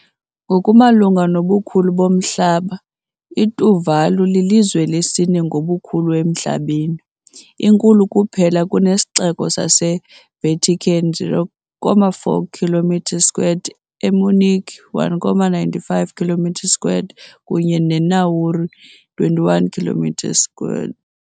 Ngokumalunga nobukhulu bomhlaba, iTuvalu lilizwe lesine ngobukhulu emhlabeni, inkulu kuphela kunesiXeko saseVatican, 0.44 kilometre squared, eMunich, 1.95 kilometre squared kunye neNauru, 21 kilometre squared.